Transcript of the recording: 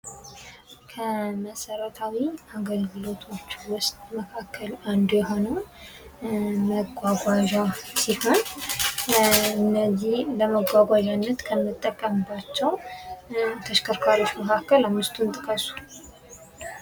ከመሰረታዊ የአገልግሎቶች መካከል ውስጥ አንዱ የሆነው መጓጓዣ ሲሆን ከነዚህ ለመጓጓዣነት ከምንጠቀምባቸው ተሽከርካሪዎች መካከል አምስቱን ጥቀሱ?